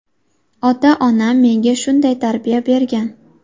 Ota-onam menga shunday tarbiya bergan”.